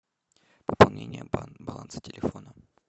пополнение баланса телефона